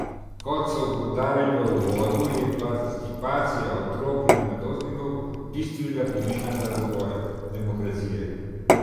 Kot so poudarili v uvodu, je participacija otrok in mladostnikov bistvenega pomena za razvoj demokracije.